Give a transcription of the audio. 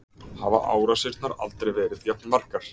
Hafa árásirnar aldrei verið jafn margar